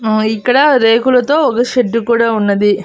ఆ ఇక్కడ రేకులతో ఒక షెడ్డు కూడా ఉన్నది.